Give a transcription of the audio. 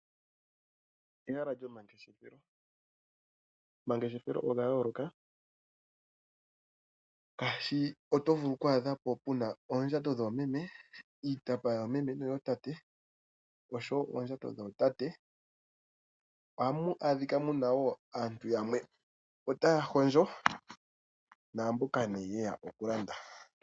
Ehala lyo mangeshefelo. Omangeshefelo oga yooloka oshoka otovulu oku adhapo puna oondjato dhoomeme ,iitapa yoomeme noyootate oshowo oondjato dhootate. Ohamu adhika muna woo aantu yamwe otaya hondjo naamboka nee yeya okulanda.